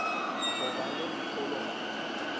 go ba le mpholo ga